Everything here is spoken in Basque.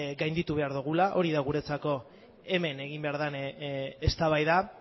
gainditu behar dugula hori da guretzako hemen egin behar den eztabaida